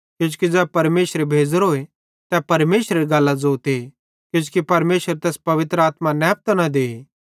किजोकि मसीह ज़ै परमेशरे भेज़ोरोए तै परमेशरेरी गल्लां ज़ोते किजोकि परमेशर तैस पवित्र आत्मा नैपतां न दे